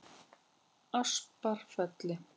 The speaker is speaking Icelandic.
Asparfelli